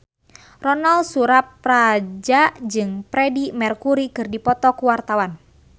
Ronal Surapradja jeung Freedie Mercury keur dipoto ku wartawan